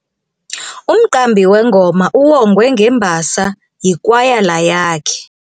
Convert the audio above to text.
Umqambi wengoma uwongwe ngembasa yikwayala yakhe.